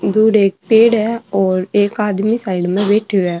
दूर एक पेड़ है और एक आदमी साइड में बैठयो है।